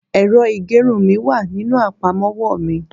ẹrọ igerun mi wa ní inú apamọwọ mi